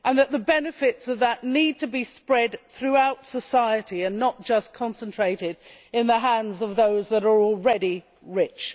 The benefits need to be spread throughout society and not just concentrated in the hands of those that are already rich.